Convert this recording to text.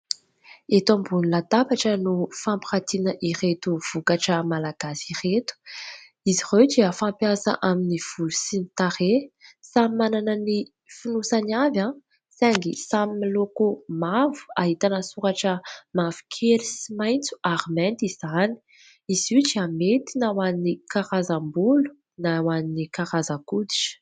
Eto ambony latabatra no fampiratiana ireto vokatra malagasy ireto, izy ireo dia fampiasa amin'ny volo sy ny tarehy. Samy manana ny fonosany avy saingy samy miloko mavo, ahitana soratra mavokely sy maitso ary mainty izany, izy io dia mety na ho an'ny karazam-bolo na ho an'ny karazan-koditra.